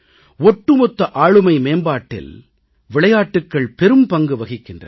ஒட்டுமொத்த ஆளுமை மேம்பாட்டில் விளையாட்டுக்கள் பெரும்பங்கு வகிக்கின்றன